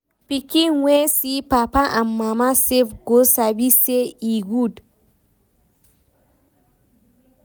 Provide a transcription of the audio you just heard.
Pikin wey see papa and mama save go sabi say e good.